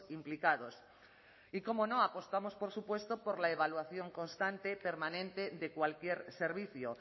implicados y cómo no apostamos por supuesto por la evaluación constante permanente de cualquier servicio